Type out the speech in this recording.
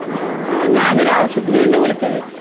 ഞാനൊരു ആവശ്യത്തിന് വേണ്ടിയാണ് വിളിച്ചത്.